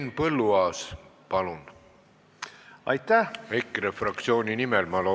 Aga võib-olla teine erakond, kes seda valdkonda Haridus- ja Teadusministeeriumi juhtides kureerib, leiab väga palju põhjuseid, miks seda ei saa teha.